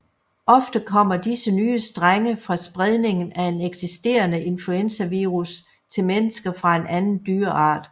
Ofte kommer disse nye strenge fra spredningen af en eksisterende influenzavirus til mennesker fra en anden dyreart